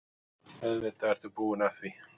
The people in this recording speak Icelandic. Auðvitað ertu búinn að því!